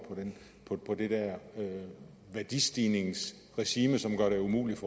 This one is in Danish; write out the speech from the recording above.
på det værdistigningsregime som gør det umuligt